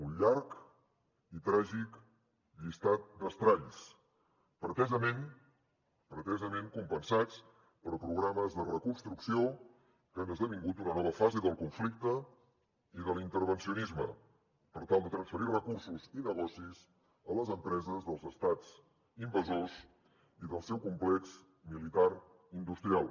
un llarg i tràgic llistat d’estralls pretesament pretesament compensats per programes de reconstrucció que han esdevingut una nova fase del conflicte i de l’intervencionisme per tal de transferir recursos i negocis a les empreses dels estats invasors i del seu complex militar industrial